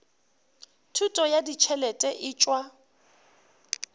thušo ya ditšhelete e tšwa